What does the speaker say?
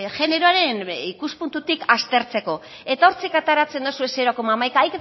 generoaren ikuspuntutik aztertzeko eta hortik ateratzen dozue zero koma hamaika